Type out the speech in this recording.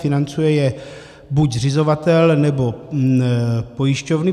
Financuje je buď zřizovatel, nebo pojišťovny.